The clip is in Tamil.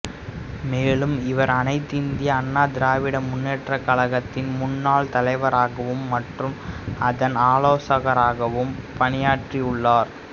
மேலும் இவர் அனைத்து இந்திய அண்ணா திராவிட முன்னேற்றக் கழகத்தின் முன்னனி தலைவராகவும் மற்றும் அதன் ஆலோசகராகவும் பணியாற்றியுள்ளார்